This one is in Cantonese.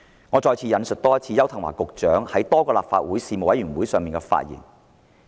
我再次引述邱騰華局長在多個立法會事務委員會上的發言。